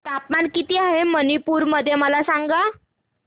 तापमान किती आहे मणिपुर मध्ये मला सांगा